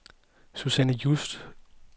Susanne Just